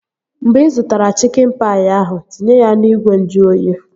Mgbe ị zụtara chikin paị ahụ, tinye ya n'ìgwè nju oyi!